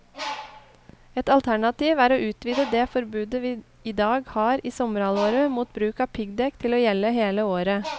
Et alternativ er å utvide det forbudet vi i dag har i sommerhalvåret mot bruk av piggdekk til å gjelde hele året.